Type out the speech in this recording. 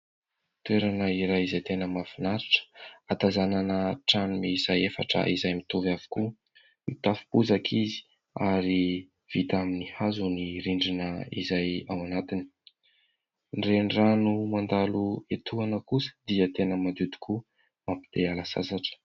Toerana iray izay tena mahafinaritra, ahatazanana trano miisa efatra izay mitovy avokoa. Mitafo bozaka izy ary vita amin'ny hazo ny rindrina izay ao anatiny. Ny renirano mandalo etoana kosa dia tena madio tokoa, mampite hiala sasatra.